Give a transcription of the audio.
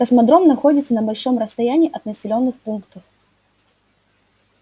космодром находится на большом расстоянии от населённых пунктов